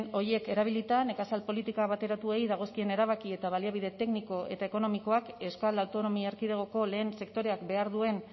horiek erabilita nekazal politika bateratuei dagozkien erabaki eta baliabide tekniko eta ekonomikoak euskal autonomia erkidegoko lehen sektoreak behar duen